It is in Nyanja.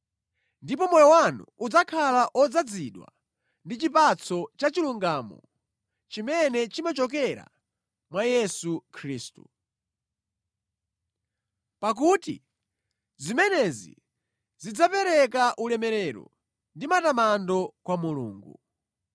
Ndipo moyo wanu udzakhala odzazidwa ndi chipatso cha chilungamo chimene chimachokera mwa Yesu Khristu. Pakuti zimenezi zidzapereka ulemerero ndi matamando kwa Mulungu.